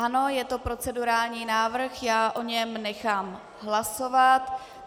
Ano, je to procedurální návrh, já o něm nechám hlasovat.